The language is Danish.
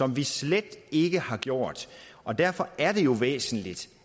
vi slet ikke har gjort og derfor er det jo væsentligt